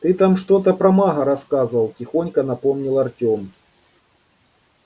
ты там что-то про мага рассказывал тихонько напомнил артём